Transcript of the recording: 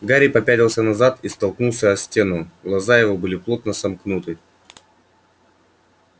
гарри попятился назад и стукнулся о стену глаза его были плотно сомкнуты